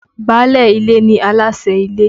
Báálé ilé ni aláṣẹ́ ilé.